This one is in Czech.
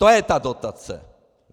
To je ta dotace.